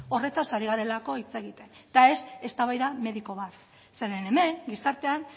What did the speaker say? horretaz ari garelako hitz egiten eta ez eztabaida mediko bat zeren hemen gizartean